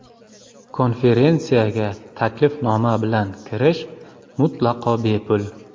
Konferensiyaga taklifnoma bilan kirish mutlaqo bepul.